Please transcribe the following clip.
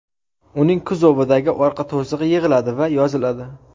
Uning kuzovidagi orqa to‘sig‘i yig‘iladi va yoziladi.